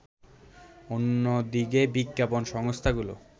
অন্যদিকে বিজ্ঞাপন সংস্থাগুলো